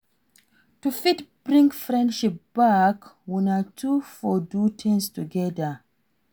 To fit bring friendship back una two for do things together